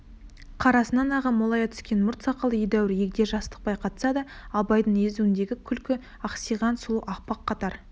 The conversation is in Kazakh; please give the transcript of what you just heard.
қарасынан ағы молая түскен мұрт сақалы едәуір егде жасты байқатса да абайдың езуіндегі күлкі ақсиған сұлу аппақ қатар